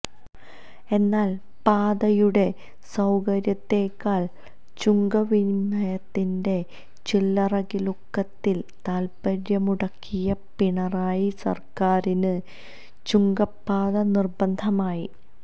എന്നാല് പാതയുടെ സൌകര്യത്തെക്കാള് ചുങ്കവിനിമയത്തിന്റെ ചില്ലറക്കിലുക്കത്തില് താല്പ്പര്യമുടക്കിയ പിണറായി സര്ക്കാറിന് ചുങ്കപ്പാത നിര്ബന്ധമായി